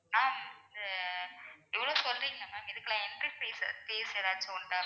ma'am அஹ் இது இவ்ளோ சொல்றீங்கல்ல ma'am இதுக்கெல்லாம் entry fees fees ஏதாச்சும் உண்டா ma'am